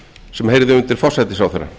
sem heyrði undir forsætisráðherra